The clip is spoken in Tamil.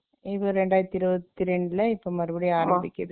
இது ரெண்டாயிரத்தி இருவத்தி ரெண்டுல, இப்ப மறுபடியும் ஆரம்பிக்குது